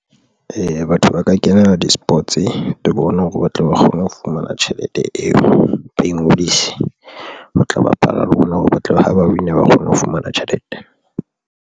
Eya, batho ba ka kenela di-sports thoko ona hore ba tle ba kgone ho fumana tjhelete eo, ba ingodise o tla bapala le ona hore batle ba haba win-a ba kgone ho fumana tjhelete.